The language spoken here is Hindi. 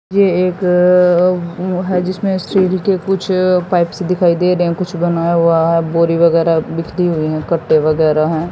ये एक वो है जिसमें के कुछ पाइप्स दिखाई दे रहे हैं कुछ बनाया हुआ है बोरी वगैरह बिखरी हुई है कट्टे वगैरह हैं।